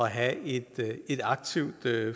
have et et aktivt